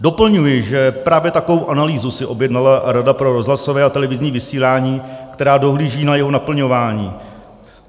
Doplňuji, že právě takovou analýzu si objednala Rada pro rozhlasové a televizní vysílání, která dohlíží na jeho naplňování.